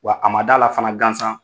Wa a ma dala la fana gansan